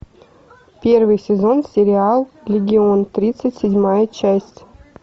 первый сезон сериал легион тридцать седьмая часть